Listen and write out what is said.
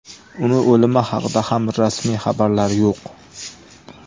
Uning o‘limi haqida ham rasmiy xabarlar yo‘q.